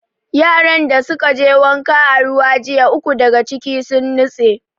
Yaran da suka je wanka a ruwa jiya, uku daga ciki sun nutse.